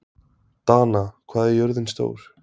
Dana, hvað er jörðin stór?